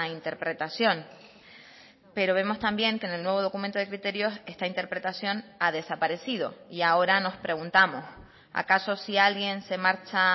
interpretación pero vemos también que en el nuevo documento de criterios esta interpretación ha desaparecido y ahora nos preguntamos acaso sí alguien se marcha